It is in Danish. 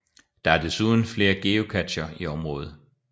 Der er desuden flere geocacher i området